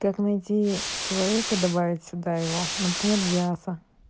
как найтии человека добавить сюда его например диаса